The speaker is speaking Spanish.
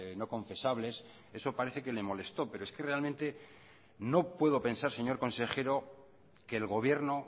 no confesables eso parece que le molestó pero es que realmente no puedo pensar señor consejero que el gobierno